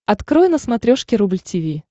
открой на смотрешке рубль ти ви